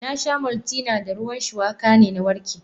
Nasha maltina da ruwan shuwaka na warke.